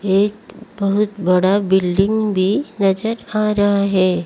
एक बहुत बड़ा बिल्डिंग भी नजर आ रहा है।